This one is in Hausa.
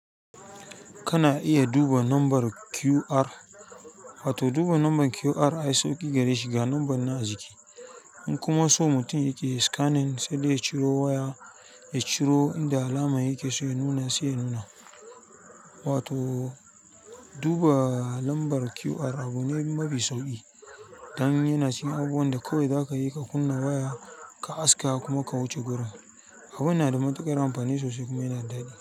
Kana iya duba lambar QR, wato duba lambar QR ai sauƙi gare shi ga lambar na a jiki. In kuma so mutum yake yayi sikanin saidai ya ciro waya ya ciro inda alaman yame sai ya nuna wato duba lambar QR abu ne mafi sauƙi. Dan yana cikin abun da kawai za ka yi ka kunna waya, ka aske kuma ka wuce gurin. Abu yana da matuƙar amfani sosai kuma yana daɗi.